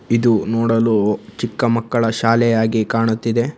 ಇದು ನೋಡಲು ಚಿಕ್ಕ ಮಕ್ಕಳ ಶಾಲೆಯಾಗಿ ಕಾಣುತ್ತಿದೆ.